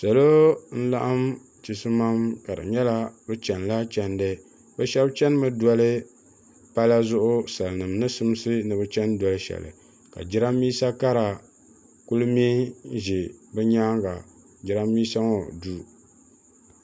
Salo n laɣim chisimam ka di nyɛla bi chɛni la chindi bi shɛba chɛni mi doli pala zuɣu sali nima ni simsi ni bi chɛni doli shɛli ka jiranbesa kara kuli mŋɛ n zɛ bi yɛanga jiranbesa ŋɔ du.